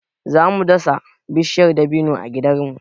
Za mu dasa bishiyar dabino a gidanmu.